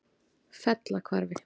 Fellahvarfi